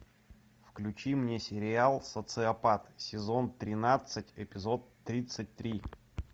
включи мне сериал социопат сезон тринадцать эпизод тридцать три